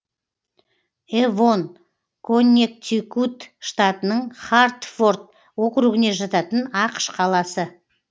эвон коннектикут штатының хартфорд округіне жататын ақш қаласы